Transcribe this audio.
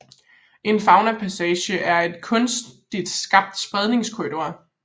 En faunapassage er en kunstigt skabt spredningskorridor